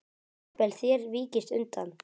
Jafnvel þér víkist undan!